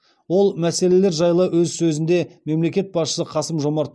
ол мәселелер жайлы өз сөзінде мемлекет басшысы қасым жомарт